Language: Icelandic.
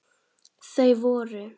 Þau voru